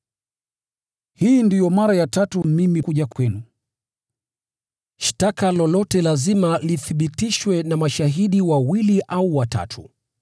Hii ndiyo mara ya tatu mimi kuja kwenu. “Shtaka lolote lazima lithibitishwe na mashahidi wawili au watatu.”